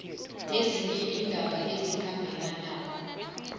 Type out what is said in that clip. nezinye iindaba ezikhambelanako